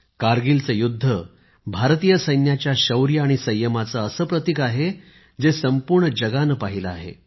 कारगिलचे युद्ध भारतीय सैन्याच्या शौर्य आणि संयमाचे असे प्रतीक आहे जे संपूर्ण जगाने पहिले आहे